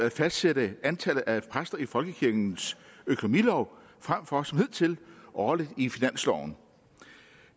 at fastsætte antallet af præster i folkekirkens økonomilov frem for som hidtil årligt i finansloven